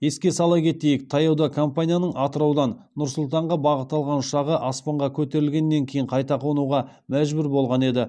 еске сала кетейік таяуда компанияның атыраудан нұр сұлтанға бағыт алған ұшағы аспанға көтерілгеннен кейін қайта қонуға мәжбүр болған еді